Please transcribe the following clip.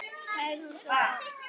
sagði hún svo oft.